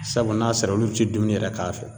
sabu n'a sera olu ti dumuni yɛrɛ k'a fɛ.